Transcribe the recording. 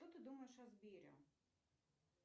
что ты думаешь о сбере